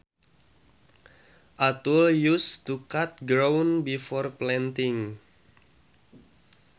A tool used to cut ground before planting